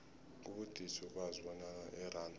kubudisi ukwazi bonyana iranda